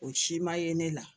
O si ma ye ne la